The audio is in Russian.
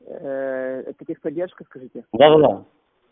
это техподдержка скажите да-да